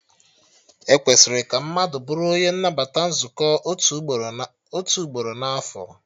E kwesịrị ka mmadụ bụrụ onye nnabata nzukọ otu ugboro na afọ